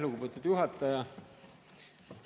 Lugupeetud juhataja!